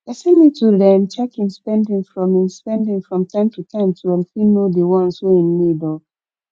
person need to dem check im spending from im spending from time to time to um fit know di ones wey im need oh